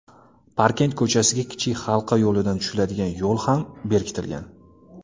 Parkent ko‘chasiga Kichik Halqa yo‘lidan tushiladigan yo‘l ham berkitilgan.